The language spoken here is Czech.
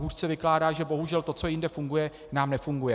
Hůř se vykládá, že bohužel to, co jinde funguje, nám nefunguje.